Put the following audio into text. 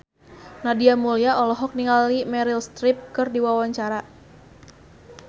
Nadia Mulya olohok ningali Meryl Streep keur diwawancara